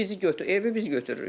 Bizi götür, evi biz götürürük.